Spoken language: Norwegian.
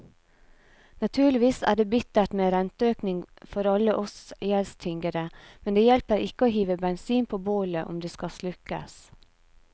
Naturligvis er det bittert med renteøkning for alle oss gjeldstyngede, men det hjelper ikke å hive bensin på bålet om det skal slukkes.